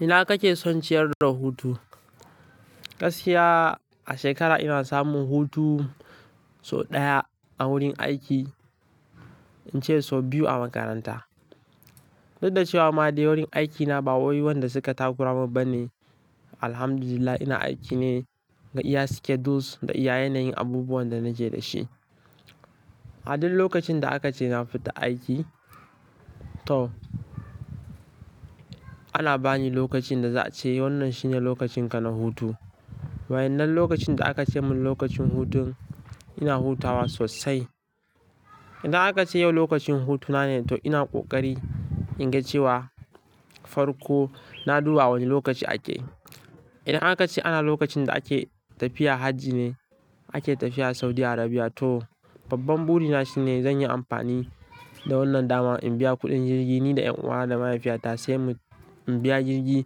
Ina kake son ciyar da hutu? Gaskiya a shekara ina samun hutu sau ɗaya a wurin aiki, in ce sau biyu a makaranta. Duk da cewa ma dai wurin aikina ba wai wanda suka takura mun bane, Alhamdulillah ina aiki ne ga iya schedules da iya yanayin abubuwan da naje dashi. A duk lokacin da aka ce na fita aiki to ana bani lokacin da za a ce wannan shine lokacin ka na hutu. Wa'iyannan lokacin da aka ce mun lokacin hutun ina hutawa sosai. Idan aka ce yau lokacin hutuna ne to ina ƙoƙari in ga cewa farko na duba wane lokaci ake. Idan aka ce ana lokacin da ake tafiya hajji ne ake tafiya Saudi Arabia to babban buri na shine zan yi amfani da wannan dama in biya kuɗin jirgi ni da ƴan uwa da mahaifiyata sai mu in biya jirgi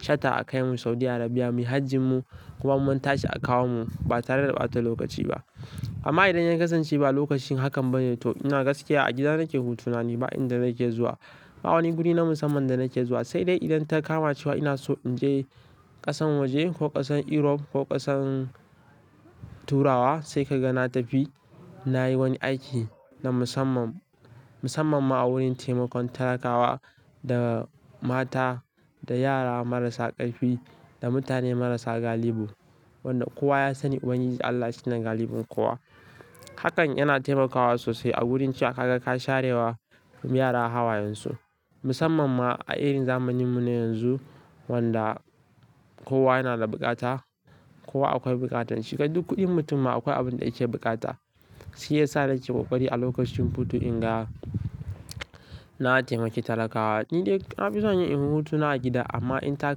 shata a kai mu Saudi Arabia muyi hajjin mu kuma mun tashi a kawo mu ba tare da ɓata lokaci ba. Amma idan ya kasance ba lokacin hakan bane to ina gaskiya a gida nake hutuna ne ba inda nake zuwa ba wani guri na musamman da nake zuwa. Sai dai idan ta kama cewa ina so in je ƙasan waje ko ƙasan Europe ko ƙasan Turawa sai ka ga na tafi. Na yi wani aiki na musamman, musamman ma a wurin taimakon talakawa da mata, da yara marasa ƙarfi, da mutane marasa galibi wanda kowa ya sani uban giji Allah shi na galibin kowa. Hakan yana taimakawa sosai a wurin cewa ka ga ka sharewa yara hawayen su. Musamman ma a irin zamaninmu na yanzu wanda kowa yana da buƙata, kowa akwai buƙatan shi. Kai duk kuɗin mutum akwai abin da yake buƙata shi ya sa nake ƙoƙari a lokacin hutu in ga na taimaki talakawa. Ni dai na fi son yin in hutuna a gida amma in ta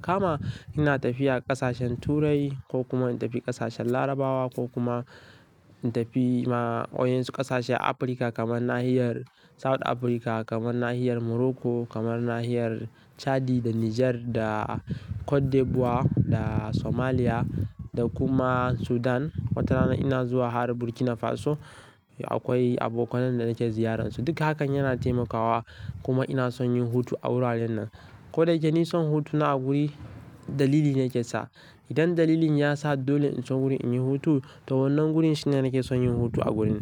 kama ina tafiya ƙasashen Turai ko kuma in tafi ƙasashen Larabawa ko kuma in tafi ma wa'iyansu ƙasashe a Afirka kamar nahiyar South Africa, kamar nahiyar Morocco, kamar nahiyar Chadi da Nijar da Cote d'Ivoire da Somalia da kuma Sudan. Wata rana ina zuwa har Burkina Faso akwai abokanan da nake ziyarar su. Duk hakan yana taimakawa kuma ina son yin hutu a wuraren nan. Ko da yake ni son hutuna a guri dalili ne yake sa. Idan dalilin ya sa dole in zo wuri inyi hutu to wannan gurin shine nake son yin hutu a gurin.